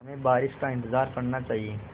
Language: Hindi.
हमें बारिश का इंतज़ार करना चाहिए